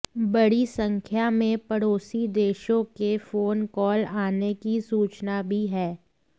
बड़ी संख्या में पड़ोसी देशों के फोन कॉल आने की सूचना भी है